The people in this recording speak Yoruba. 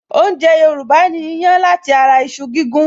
Oúnjẹ Yorùbá ni ìyàn lati ara iṣu gígún